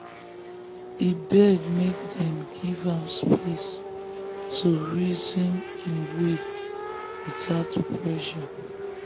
e beg make dem give am space to reason him way without pressure.